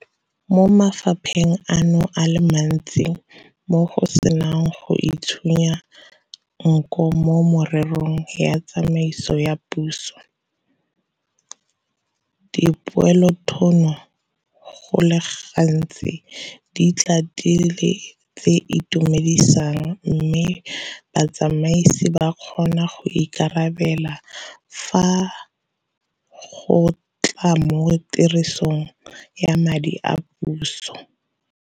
Mo mafapheng ano a le mantsi mo go senang go itshunya nko mo mererong ya tsamaiso ya puso, dipoelothuno go le gantsi di tla e le tse di itumedisang mme botsamaisi bo kgona go ikarabela fa go tla mo tirisong ya madi a puso.